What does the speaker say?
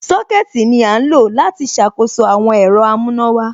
Sọ́kẹ̀tì ní à ń lọ láti ṣàkóso àwọn ẹ̀rọ amùnàwà.